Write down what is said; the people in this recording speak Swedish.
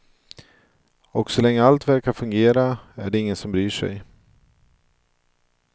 Och så länge allt verkar fungera är det ingen som bryr sig.